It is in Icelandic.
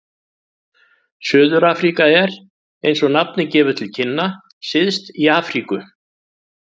Suður-Afríka er, eins og nafnið gefur til kynna, syðst í Afríku.